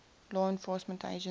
law enforcement agency